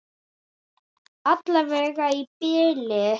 Alla vega í bili.